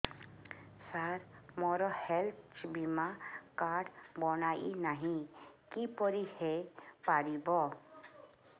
ସାର ମୋର ହେଲ୍ଥ ବୀମା କାର୍ଡ ବଣାଇନାହିଁ କିପରି ହୈ ପାରିବ